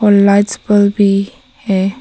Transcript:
और lights bulb भी है।